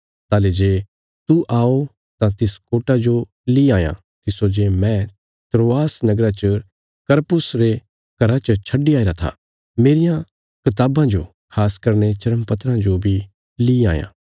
ताहली जे तू आओ तां तिस कोटा जो ली आयां तिस्सो जे मैं त्रोआसा नगरा च करपुस रे घरा च छड्डी आईरा था मेरियां कताबां जो खास करीने चर्मपत्राँ जो बी ली आयां